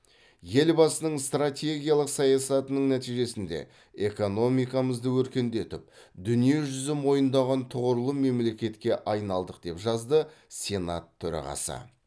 елбасының стратегиялық саясаятының нәтижесінде экономикамызды өркендетіп дүние жүзі мойындаған тұғырлы мемлекетке айналдық деп жазды сенат төрағасы